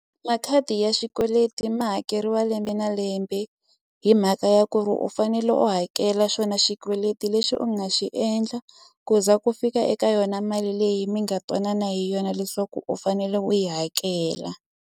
Makhadi ya xikweleti ma hakeriwa lembe na lembe hi mhaka ya ku ri u fanele u hakela xona xikweleti lexi u nga xi endla ku za ku fika eka yona mali leyi mi nga twanana hi yona leswaku u fanele u yi hakela.